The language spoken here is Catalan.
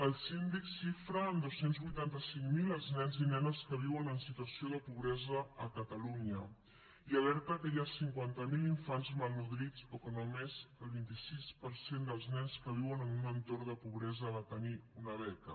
el síndic xifra en dos cents i vuitanta cinc mil els nens i nenes que viuen en situació de pobresa a catalunya i alerta que hi ha cinquanta mil infants malnodrits o que només el vint sis per cent dels nens que viuen en un entorn de pobresa va tenir una beca